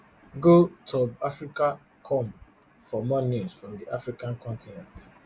go tobbcafricacomfor more news from the african continent